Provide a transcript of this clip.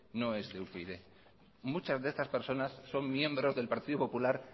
no es de upyd muchas de estas personas son miembros del partido popular